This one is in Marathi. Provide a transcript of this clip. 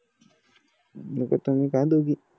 नको तुम्ही खा दोघी